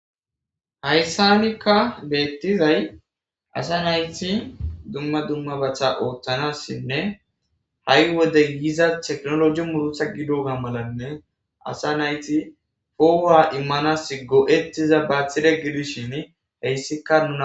hayssanikka beettizay asa nayti dumma dumma batha ooththanassinne ha7i wode yiza teknoloji murusa gidoga malanne asa nayti hoowa immanas go7ettiza baathire gidishin heyssikka nuna